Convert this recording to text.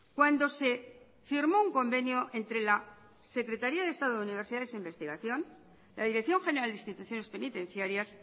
cuando se firmó un convenio entre la secretaría de estado de universidades e investigación la dirección general de instituciones penitenciarias